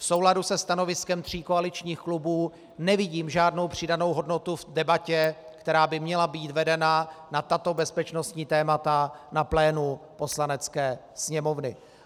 V souladu se stanoviskem tří koaličních klubů nevidím žádnou přidanou hodnotu v debatě, která by měla být vedena na tato bezpečnostní témata na plénu Poslanecké sněmovny.